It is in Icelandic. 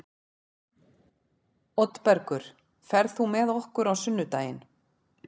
Oddbergur, ferð þú með okkur á sunnudaginn?